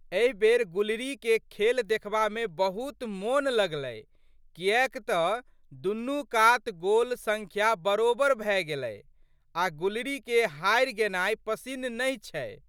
एहि बेर गुलरीके खेल देखबामे बहुत मोन लगलै किएक तऽ दुनू कात गोल सङ्ख्या बरोबरि भए गेलै आ' गुलरीके हारि गेनाइ पसिन नहि छै।